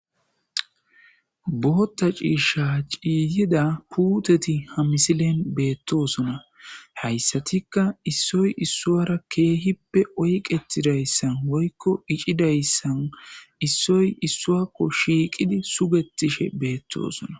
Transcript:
Bootha ciishe ciyida puuteti ha misilen betosona haysatika issoy issara kehipe shiqidaysan issoy issara sugetishe betosona